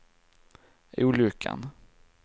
olyckan